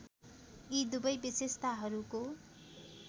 यी दुवै विशेषताहरूको